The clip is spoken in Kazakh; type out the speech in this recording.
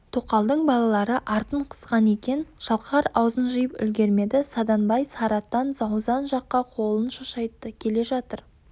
тоқалдың балалары артын қысқан екен шалқар аузын жиып үлгермеді саданбай сарыатан заузан жаққа қолын шошайтты келе жатыр